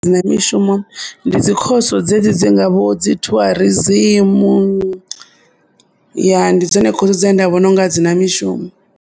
Dzi na mishumo ndi dzi course dzedzi dzi ngaho vho dzi tourism , ya ndi ndi dzone course dzine nda vhona ungari a dzi na mushumo.